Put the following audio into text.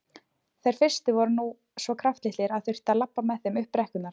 Þeir fyrstu voru nú svo kraftlitlir að það þurfti að labba með þeim upp brekkurnar.